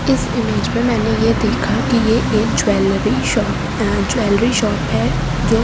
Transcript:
इस इमेज में मैंने यह देखा कि यह एक ज्वेलरी शॉप ज्वेलरी शॉप है जो--